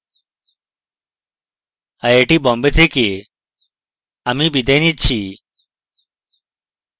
I I T Bombay থেকে amal বিদায় নিচ্ছি